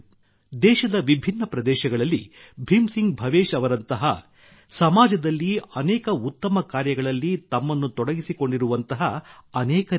ದೇಶದ ವಿಭಿನ್ನ ಪ್ರದೇಶಗಳಲ್ಲಿ ಭೀಮ್ ಸಿಂಗ್ ಭವೇಶ್ ಅವರಂತಹ ಸಮಾಜದಲ್ಲಿ ಅನೇಕ ಉತ್ತಮ ಕಾರ್ಯಗಳಲ್ಲಿ ತಮ್ಮನ್ನು ತೊಡಗಿಸಿಕೊಂಡಿರುವಂತಹ ಅನೇಕರಿದ್ದಾರೆ